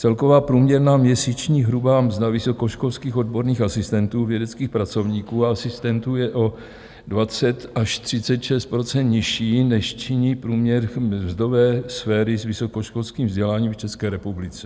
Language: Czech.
Celková průměrná měsíční hrubá mzda vysokoškolských odborných asistentů, vědeckých pracovníků a asistentů, je o 20 až 36 % nižší než činí průměr mzdové sféry s vysokoškolským vzděláním v České republice.